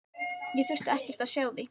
Ég þurfti ekkert að sjá þig.